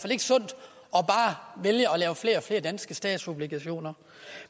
vælge at lave flere og flere danske statsobligationer